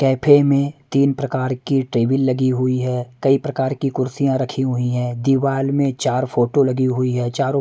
cafe में तीन प्रकार की टेबल लगी हुई है कई प्रकार की कुर्सियां रखी हुई हैं दीवार में चार फोटो लगी हुई है चारों--